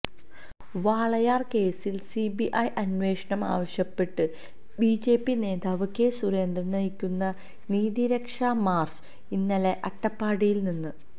വാളയാര് കേസില് സിബിഐ അന്വേഷണം ആവശ്യപ്പെട്ട് ബിജെപി നേതാവ് കെ സുരേന്ദ്രന് നയിക്കുന്ന നീതി രക്ഷാ മാര്ച്ച് ഇന്നലെ അട്ടപ്പള്ളത്തുനിന്ന്